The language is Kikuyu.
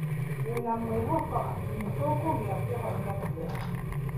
Ndĩna mwĩhoko atĩ nĩ tũkũgĩa kĩhonia kĩega.